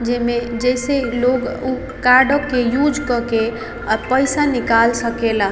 जेमे जेसे लोग उ कार्डो के यूज़ करके अ पैसा निकल सके ला।